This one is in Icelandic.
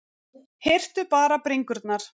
Hirtu bara bringurnar